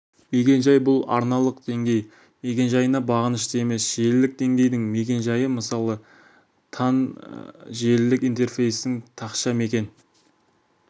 мекен-жай бұл арналық деңгей мекен-жайына бағынышты емес желілік денгейдің мекен-жайы мысалы тан желілік интерфейстің тақша мекен